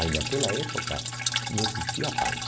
Aí naquela época não existia